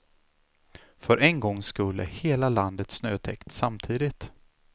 För en gångs skull är hela landet snötäckt samtidigt.